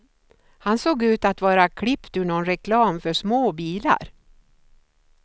Han såg ut att vara klippt ur nån reklam för små bilar.